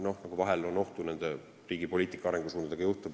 Vahel on olnud ju oht, et riigi poliitika arengusuundadega nii juhtub.